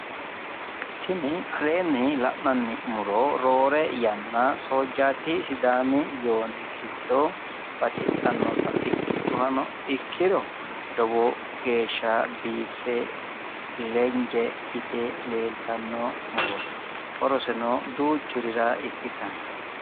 Tini aleenni la'nanni muro duucha woyte Sidaami Soojjati widooni afantano muro le"e seekke lece yite biife afantanno horoseno loworira ikkittano